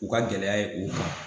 U ka gɛlɛya ye u kan.